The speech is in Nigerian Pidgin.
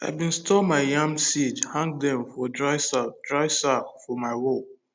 i bin store yam seed hang dem for dry sack dry sack for my wall